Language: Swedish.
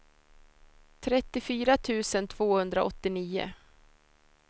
trettiofyra tusen tvåhundraåttionio